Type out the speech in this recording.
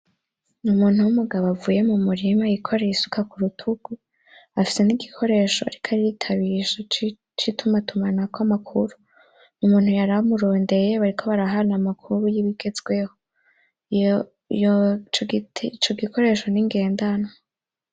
N'umuntu w'umugabo avuye mumurima yikoreye isuka kurutugu afise n'igikoresho ariko aritabisha c'itumatumanako amakuru umuntu yari amurondeye bariko barahana amakuru y'ibigezweho ico gikoresho ni ngendanwa.